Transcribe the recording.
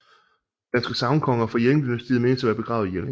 Danske sagnkonger fra Jelling dynastiet menes at være begravet i Jelling